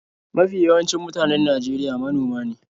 Mafi yawancin mutanen Najeriya manoma ne.